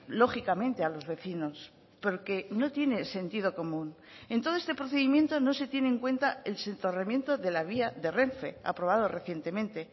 lógicamente a los vecinos porque no tiene sentido común en todo este procedimiento no se tiene en cuenta el soterramiento de la vía de renfe aprobado recientemente